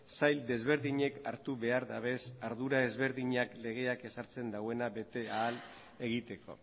sail desberdinek hartu behar dabez ardura ezberdinak legeak ezartzen dauena bete ahal egiteko